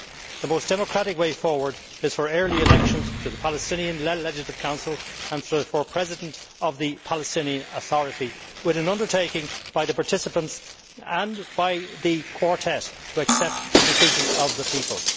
The most democratic way forward is for early elections to the Palestinian Legislative Council and for the President of the Palestinian Authority, with an undertaking by the participants and by the Quartet, to accept the decision of the people.